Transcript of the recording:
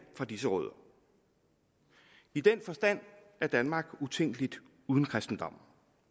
fra disse rødder i den forstand er danmark utænkeligt uden kristendommen